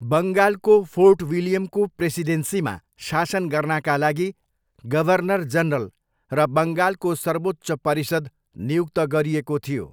बङ्गालको फोर्ट विलियमको प्रेसिडेन्सीमा शासन गर्नाका लागि गभर्नर जनरल र बङ्गालको सर्वोच्च परिषद नियुक्त गरिएको थियो।